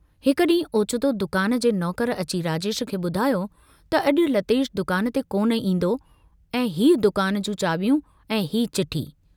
हिक डींहुं ओचितो दुकान जे नौकर अची राजेश खे बुधायो त अजु लतेश दुकान ते कोन ईन्दो ऐं हीउ दुकान जूं चाबियूं ऐं हीउ चिठी।